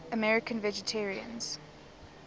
american vegetarians